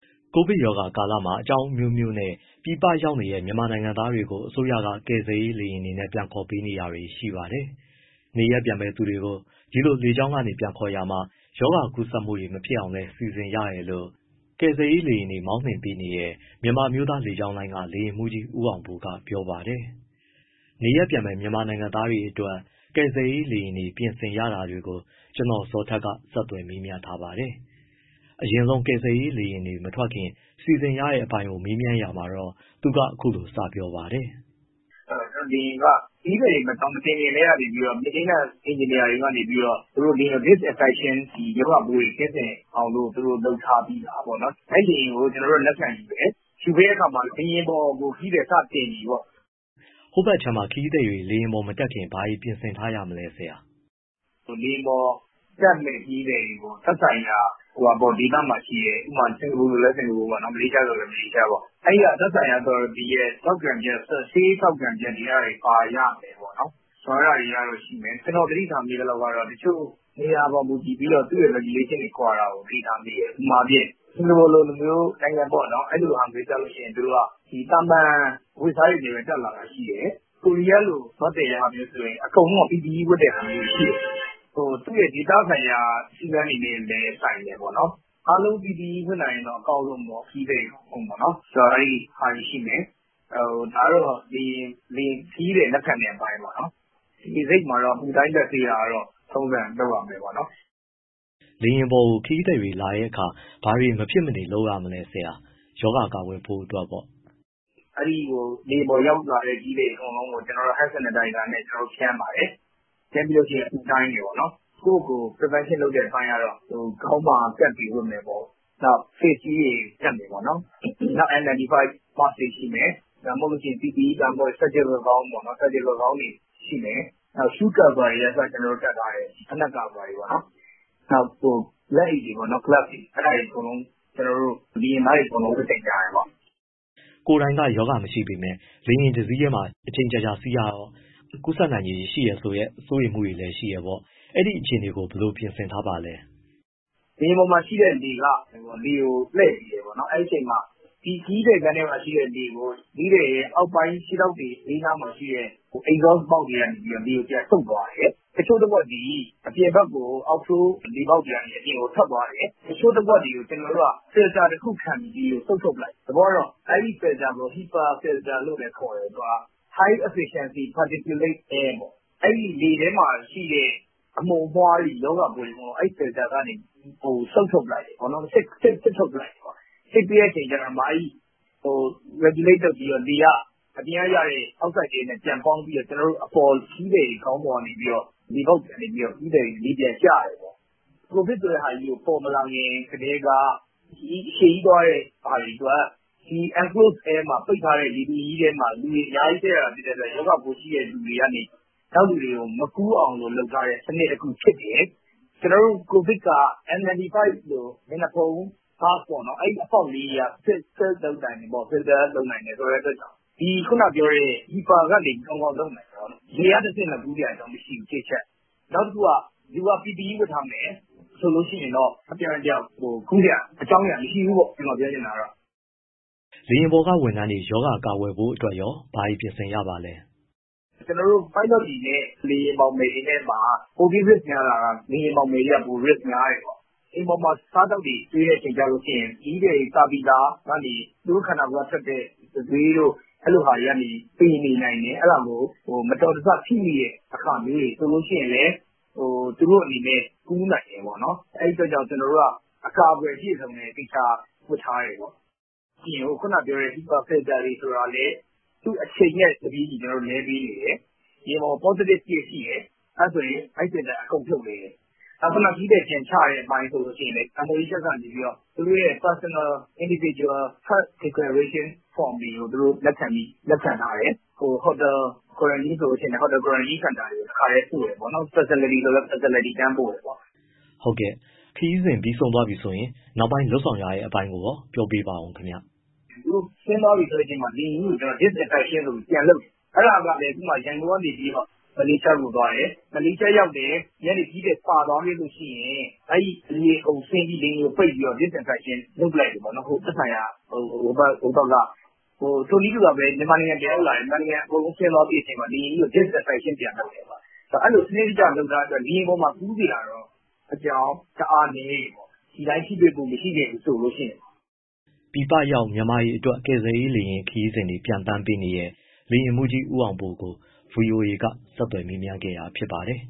ကိုဗစ်ကပ်ရောဂါကာလမှာ အကြောင်းအမျိုးမျိုးနဲ့ ပြည်ပရောက်နေတဲ့ မြန်မာနိုင်ငံသားတွေကို အစိုးရက ကယ်ဆယ်ရေး လေယာဉ်တွေနဲ့ ပြန်ခေါ်ပေးနေတာတွေ ရှိပါတယ်။ နေရပ်ပြန်မယ့်သူတွေကို ဒီလိုလေကြောင်းကနေ ပြန်ခေါ်ရာမှာ ရောဂါကူးစက်မှုတွေမဖြစ်အောင်လည်း စီစဉ်ရတယ်လို့ ကယ်ဆယ်ရေး လေယာဉ်တွေမောင်းနှင်ပေးနေတဲ့ မြန်မာအမျိုးသား လေကြောင်းလိုင်းက လေယာဉ်မှူးကြီး ဦးအောင်ပိုကပြောပါတယ်။ နေရပ်ပြန်မယ့် မြန်မာနိုင်ငံသားတွေအတွက် ကယ်ဆယ်ရေး လေယာဉ်တွေနဲ့ ပြင်ဆင်ရတာတွေကို ကိုဇော်ထက်က ဆက်သွယ် မေးမြန်းထားပါတယ်။ အရင်ဆုံး ကယ်ဆယ်ရေးလေယာဉ်တွေ မထွက်ခင်စီစဉ်ရတဲ့အပိုင်းကို မေးမြန်းရာမှာတော့ သူက အခုလို စပြောပါတယ်။ “ကျနော်တို့ လေယာဉ်က ခရီးသည်တွေမတင်ခင်ကတည်းက maintenance engineer တွေက လေယာဉ်ကို disinfection ရောဂါပိုးတွေ ကင်းစင်အောင်လို့ လုပ်ထားပြီးသားပေါ့နော်။ အဲဒီလေယာဉ်ကို ကျနော်တို့က လက်ခံယူတယ်၊ ယူပြီးတဲ့အခါမှာ လေယာဉ်ပေါ်ကို ခရီးသည် စတင်ပြီပေါ့။” ဟိုဘက်အခြမ်းမှာ ခရီးသည်က လေယာဉ်ပေါ်မတက်ခင် ဘာတွေပြင်ဆင်ထားရမလဲဆရာ။ “ လေယာဉ်ပေါ်တက်မယ့် ခရီးသည်တွေကိုသက်ဆိုင်ရာ ဒေသမှာရှိတဲ့ ဥပမာ စင်္ကာပူဆိုလည်း စင်္ကာပူပေါ့၊ မလေးရှားဆိုလည်း မလေးရှားပေါ့၊ အဲဒီက သက်ဆိုင်ရာ authority ရဲ့ ဆေးထောက်ခံချက်တွေ၊ အဲဒါတွေ ပါရမယ်ပေါ့၊ အဲဒါတွေရှိမယ်။ ကျနော် သတိထားမိသလောက်ကတော့ တချို့ နေရာပေါ် မူတည်ပြီးတော့ သူ့ရဲ့ regulation ကွာတာကို သတိထားမိတယ်၊ ဥပမာအားဖြင့် စင်္ကာပူလိုမျိုး အဲလိုဆိုရင် သူတို့က သာမန်အဝတ်အစား တွေနဲ့ပဲ တက်လာတာ ရှိတယ်၊ ကိုရီးယားလိုမျိုး သွားသယ်တာမျိုးဆိုရင် အကုန်လုံးက PPE ဝတ်တဲ့ဟာမျိုးရှိတယ်၊ သူ့ရဲ့ ဒေသဆိုင်ရာ စည်းကမ်းတွေနဲ့လည်း ဆိုင်တယ်ပေါ့နော်၊ အားလုံး PPE ဝတ်နိုင်ရင်တော့ အကောင်းဆုံပေါ့။ ဒါကတော့ ခရီးသည် လက်ခံတဲ့အပိုင်းပေါ့။ လေဆိပ်မှာ အပူတိုင်း၊ လက်ဆေးတာကတော့ ထုံးစံ လုပ်ရမယ်ပေါ့နော်။” လေယာဉ်ပေါ်ကို ခရီးသည်လာတဲ့အခါ ဘာတွေမဖြစ်မနေ လုပ်ရမလဲဆရာ ရောဂါကာကွယ်ဖို့။ “ လေယာဉ်ပေါ်ရောက်သွားတဲ့ ခရီးသည်တွေ အကုန်လုံးကို ကျနော်တို့က hand sanitizer နဲ့ ဖြန်းပါတယ်၊ ပြီးရင် အပူတိုင်းတယ်ပေါ့။ ကိုယ့်ကိုယ်ကိုယ် prevention လုပ်တဲ့အပိုင်းကတော့ ခေါင်းမှာ cap တွေ ဝတ်မယ်ပေါ့၊ နောက် face-shield တွေ တပ်မယ်ပေါ့၊ နောက် N95 mask တွေရှိမယ်၊ ဒါမှမဟုတ်ရင် PPE တို့ surgical gown တွေရှိမယ်၊ နောက် shoe cover တွေကအစ တပ်ထားတယ်၊ ဖိနပ်ကာဗာတွေပေါ့နော်၊ နောက်လက်အိတ်တွေပေါ့နော် glove တွေ အဲဒါတွေအကုန်လုံး ကျနော်တို့ လေယာဉ်သားတွေ အကုန်လုံး ဝတ်ဆင်ကြတယ်။” ကိုယ်တိုင် ရောဂါမရှိပေမဲ့ လေယာဉ်တစီးထဲမှာ အချိန်အကြာကြာ စီးရတော့ ကူးစက်နိုင်ခြေ ရှိတယ်ဆိုတဲ့ စိုးရိမ်မှုတွေလည်း ရှိတယ်ပေါ့။ အဲဒီအခြေအနေကို ဘယ်လိုပြင်ဆင်ထားပါလဲ။ “ လေယာဉ်ပေါ်မှာ ရှိတဲ့လေက လေကိုလှည့်ပေးတယ်ပေါ့နော်၊ အဲဒီအချိန်မှာ ခရီးသည်ခန်းထဲမှာရှိတဲ့လေကို ခရီးသည်ရဲ့ အောက်ပိုင်း ခြေထောက်တွေ ဘေးနားမှာရှိတဲ့ absorb ပေါက်တွေကနေ လေကိုပြန်စုပ်သွားတယ်၊ တချို့တဝက်သည် အပြင်ဘက်ကို out flow လေပေါက်တွေကနေ အပြင်ကို ထွက်သွားတယ်၊ တချို့တဝက်တွေကို ကျနော်တို့က filter တခုခံပြီး လေကိုစုပ်ထုတ်ပစ်လိုက်တယ်၊ သဘောကတော့ အဲဒီ filter ကို HEPA filter လို့လည်း ခေါ်တယ်။ သူက high efficiency particulate air ပေါ့၊ အဲဒီလေထဲမှာ အမှုန်အမွှားတွေ၊ ရောဂါပိုးတွေကို အဲဒီ filter ကနေ စုပ်ထုတ်ပစ်လိုက်တယ် စစ်ထုတ်ပစ်လိုက်တယ်။ စစ်ပြီးတော့ regulate လုပ်ပြီး လေက အပြင်ကရတဲ့ outside air နဲ့ ပြန်ပေါင်းပြီး ခရီးသည်တွေခေါင်းပေါ် လေပေါက်တွေကနေ လေပြန်ကျတယ်။ ကိုဗစ်ဆိုတာ ပေါ်မလာခင်ကတည်းက ခရီးအရှည်ကြီး သွားရတဲ့ ဟာတွေအတွက် ပိတ်ထားတဲ့လေထုထဲမှာ ရောဂါပိုးရှိတဲ့လူတွေကနေ နောက်လူတွေကို မကူးအောင် လုပ်ထားတဲ့ စနစ်တခုဖြစ်တယ်၊ ကိုဗစ်က N95 လိုမျက်နှာဖုံးက စစ်နိုင်တယ်၊ ခုနကပြောတဲ့ HEPA ကနေ ကောင်းကောင်းလုပ်နိုင်တယ်ဆိုတော့ လေကတဆင့် ကူးနိုင်စရာအကြောင်းမရှိဘူး ၁ အချက်၊ နောက်တခုက လူက PPE ဝတ်ထားမယ် ဆိုလို့ရှိရင်တော့ တယောက်နဲ့တယောက် ကူးစရာအကြောင်း မရှိဘူးပေါ့ ကျနော်ပြောချင်တာ။” လေယာဉ်ပေါ်ကဝန်ထမ်းတွေ ရောဂါကာကွယ်ဖို့အတွက်ရော ဘာတွေပြင်ဆင်ရပါလဲ။ “ ကျနော်တို့ ပိုင်းလော့တွေနဲ့ လေယာဉ်မောင်မယ်တွေနဲ့မှာ ပိုပြီး risk များတာက လေယာဉ်မောင်မယ်တွေက risk များတယ်ပေါ့။ လေယာဉ်ပေါ်မှာ အစားအသောက်တွေ ကျွေးတဲ့အချိန်ကျရင် ခရီးသည်တွေစားပြီးသားကနေ သူတို့ခန္ဓာကိုယ်ကထွက်တဲ့ တံတွေးတို့ အဲလိုဟာတွေကနေ ပေနေနိုင်တယ်၊ အဲဒါကို မတော်တဆထိမိတဲ့ အခါမျိုးတွေဆိုရင်လည်း သူတို့အနေနဲ့ ကူးနိုင်တယ်ပေါ့နော်။ အဲဒီအတွက် ကျနော်တို့က အကာအကွယ် အပြည့်အစုံနဲ့ သေချာဝတ်ထားတယ်ပေါ့။ ပြီးတော့ ခုနကပြောတဲ့ HEPA filter တွေဆိုတာလည်း သူ့အချိန်နဲ့တပြေးညီ ကျနော်တို့ လဲပေးနေတယ်၊ လေယာဉ်ပေါ်မှာ positive ရှိတယ်ဆိုရင် အဲဒီ filter တွေအကုန်ဖြုတ်လဲတယ်။ နောက် ခရီးသည် ပြန်ချတဲ့ အပိုင်းဆိုရင်လည်း MOHS ကနေ သူတို့ရဲ personal individual health declaration form တွေ သူတို့လက်ခံထားတယ်၊ ဟိုတယ် quarantine ဆိုရင်လည်း ဟိုတယ် quarantine စင်တာတွေ တခါတည်းပို့တယ်ပေါ့။ နောက် facility ဆိုရင်လည်း facility ကို တန်းပြီးပို့တယ်ပေါ့။” ဟုတ်ကဲ့ ခရီးစဉ်ဆုံးသွားပြီဆိုရင် နောက်ပိုင်း လုပ်ဆောင်တဲ့အပိုင်း ပြောပြပေးပါဦးခင်ဗျ။ “ သူတို့ဆင်းသွားပြီ ဆိုတဲ့အချိန်မှာ လေယာဉ်ကြီးကို disinfection ဆိုပြီး ပြန်လုပ်တယ်၊ အဲဒါကလည်း ဥပမာ ရန်ကုန်ကနေ မလေးရှားကိုသွားတယ်၊ မလေးရှားရောက်တယ် ဒီကနေခရီးသည် ပါသွားရင် အဲဒီလူတွေအကုန်ဆင်းပြီး လေယာဉ်ကိုပိတ်ပြီးတော့ disinfection လုပ်ပစ်လိုက်တယ်ပေါ့ သက်ဆိုင်ရာ ဟိုဘက်က။ ထိုနည်းတူစွာပဲ မြန်မာနိုင်ငံ ပြန်ရောက်လာရင် အကုန်လုံး ဆင်းသွားပြီးတဲ့အချိန်မှာ disinfection ပြန်လုပ်တယ်။ အဲဒီလို စနစ်တကျ လုပ်ထားတဲ့အတွက် လေယာဉ်ပေါ်မှာ ကူးစရာတော့ အကြောင်း တအားနည်းတယ်ပေါ့။ ဒီအတိုင်း ထိတွေ့မှု မရှိခဲ့ဘူးဆိုရင်တော့။” ပြည်ပရောက် မြန်မာတွေအတွက် ကယ်ဆယ်ရေး လေယာဉ်ခရီးစဉ်တွေ ပျံသန်းပေးနေတဲ့ လေယာဉ်မှူးကြီး ဦးအောင်ပိုကို ဗွီအိုအေက ကိုဇော်ထက် မေးမြန်းခဲ့တာဖြစ်ပါတယ်